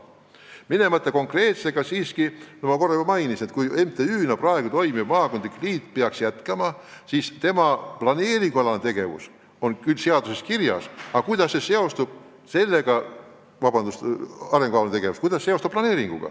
Ma ei taha minna konkreetseks, aga korra ma juba mainisin, et kui MTÜ-na praegu toimiv maakondlik liit peaks jätkama, siis tema planeeringualane tegevus on küll seaduses kirjas, aga kuidas seostub sellega, vabandust, arengukavaalane tegevus?